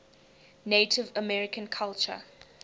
native american culture